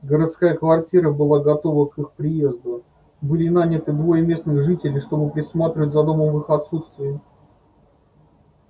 городская квартира была готова к их приезду были наняты двое местных жителей чтобы присматривать за домом в их отсутствие